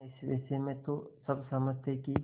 इस विषय में तो सब सहमत थे कि